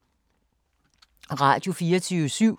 Radio24syv